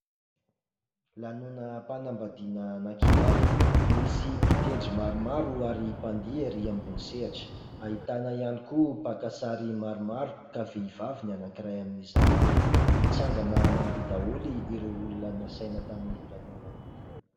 Lanonam-panambadiana anankiray, misy mpitendry maromaro ary mpandihy ery ambony sehatra, ahitana ihany koa mpaka sary maromaro ka vehivavy ny anankiray amin'izany, nitsangana nandihy daholo ireo olona nasaina tamin'io lanonana io.